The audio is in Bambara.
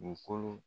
U kolo